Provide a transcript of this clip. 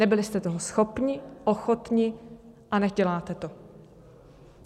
Nebyli jste toho schopni, ochotni a neděláte to.